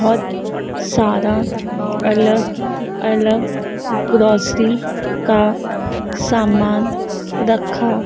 बहुत सारा अलग-अलग ग्रॉसरी के समान रखा--